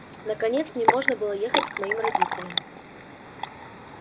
наконец мне можно было ехать к моим родителям